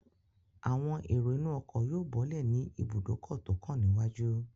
Àwọn èrò inú ọkọ̀ yóò bọ́lẹ̀ ní ibùdókọ̀ tó kàn níwájú